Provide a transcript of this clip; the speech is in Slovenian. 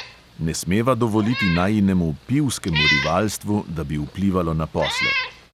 Ne smeva dovoliti najinemu pivskemu rivalstvu, da bi vplivalo na posle.